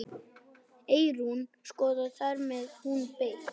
Eyrún skoðaði þær meðan hún beið.